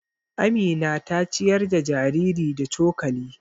Amina ta ciyar da jariri da cokali.